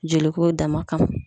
Joliko dama kama